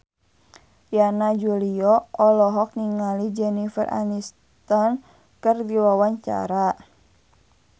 Yana Julio olohok ningali Jennifer Aniston keur diwawancara